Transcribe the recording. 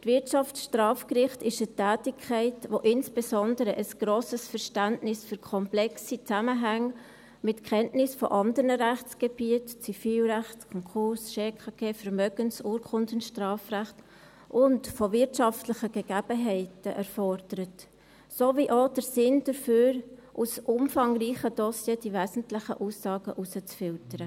Das Wirtschaftsstrafgericht ist eine Tätigkeit, die insbesondere ein grosses Verständnis für komplexe Zusammenhänge mit Kenntnis anderer Rechtsgebiete wie Zivilrecht, Schuldbetreibungs- und Konkursrecht, Vermögens- und Urkundenstrafrecht und von wirtschaftlichen Gegebenheiten erfordert, sowie auch den Sinn dafür, aus umfangreichen Dossiers die wesentlichen Aussagen herauszufiltern.